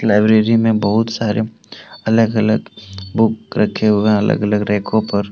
library में बहुत सारे अलग अलग बुक रखे हुए अलग अलग रैकों पर--